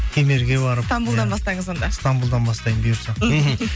кемерге барып стамбулдан бастаңыз онда стамбулдан бастаймын бұйырса мхм